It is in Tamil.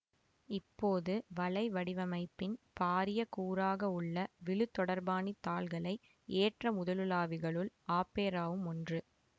இப்போது வலை வடிவமைப்பின் பாரிய கூறாகவுள்ள விழுதொடர்பாணித் தாள்களை ஏற்ற முதலுலாவிகளுள் ஆப்பெராவும் ஒன்று